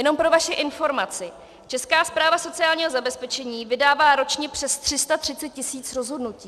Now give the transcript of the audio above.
Jenom pro vaši informaci, Česká správa sociálního zabezpečení vydává ročně přes 330 tisíc rozhodnutí.